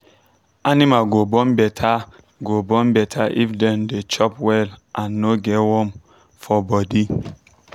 animal go born better go born better if dem dey chop well and no get worm for body.